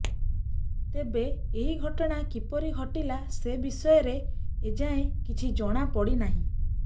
ତେବେ ଏହି ଘଟଣା କିପରି ଘଟିଲା ସେ ବିଷୟରେ ଏଯାଏ କିଛି ଜଣା ପଡ଼ିନାହିଁ